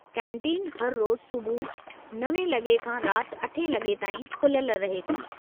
Canteen हर रोज़ु सुबुह 9 लॻे खां राति 8 लॻे ताईं खुलियल रहे थी।